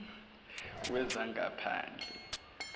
wezangaphandle